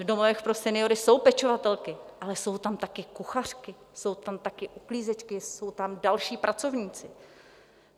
V domovech pro seniory jsou pečovatelky, ale jsou tam také kuchařky, jsou tam také uklízečky, jsou tam další pracovníci.